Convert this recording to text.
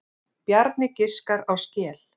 Bjarni giskar á skel.